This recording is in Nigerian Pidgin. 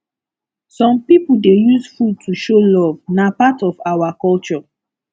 some pipo dey use food to show love na part of our culture